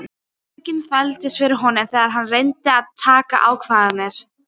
Sársaukinn þvældist fyrir honum þegar hann reyndi að taka ákvarðanir.